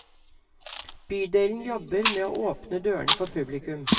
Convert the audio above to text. Bydelen jobber med å åpne dørene for publikum.